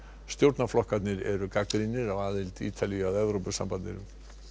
stjórnarflokkarnir eru gagnrýnir á aðild Ítalíu að Evrópusambandinu